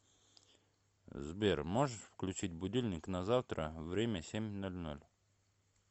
сбер можешь включить будильник на завтра время семь ноль ноль